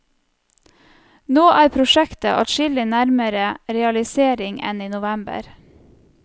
Nå er prosjektet adskillig nærmere realisering enn i november.